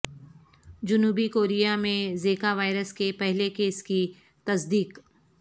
جنوبی کوریا میں Zika virus کے پہلے کیس کی تصدیق